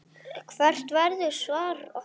Hvert verður svar okkar?